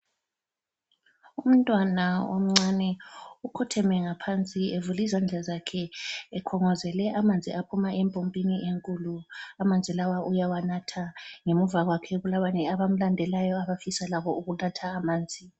Umntwana omncane ukhotheme ngaphansi evulizandla zakhe ekhongozele amanzi aphuma empompini enkulu. Amanzi lawa uyawanatha. Ngemuva kwakhe kulabanye abamlandelayo abafisa labo ukuthatha amanzi.